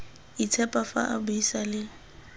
itshepa fa a buisa le